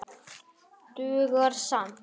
Dugar skammt.